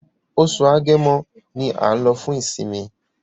Oṣù Agẹmọ ní a nlo fun isinmi